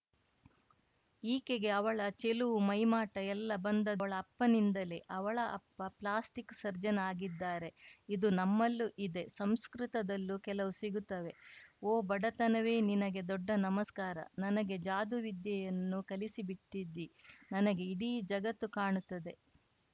ಈಕೆಗೆ ಅವಳ ಚೆಲುವು ಮೈಮಾಟ ಎಲ್ಲ ಬಂದದ್ದು ಅವಳ ಅಪ್ಪನಿಂದಲೇ ಅವಳ ಅಪ್ಪ ಪ್ಲಾಸ್ಟಿಕ್‌ ಸರ್ಜನ್‌ ಆಗಿದ್ದಾರೆ ಇದು ನಮ್ಮಲ್ಲೂ ಇದೆ ಸಂಸ್ಕೃತದಲ್ಲೂ ಕೆಲವು ಸಿಗುತ್ತವೆ ಓ ಬಡತನವೇ ನಿನಗೆ ದೊಡ್ಡ ನಮಸ್ಕಾರ ನನಗೆ ಜಾದೂ ವಿದ್ಯೆಯನ್ನು ಕಲಿಸಿಬಿಟ್ಟಿದ್ದೀ ನನಗೆ ಇಡೀ ಜಗತ್ತು ಕಾಣುತ್ತದೆ